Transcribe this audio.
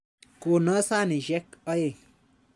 Kono sanisyek aeng'.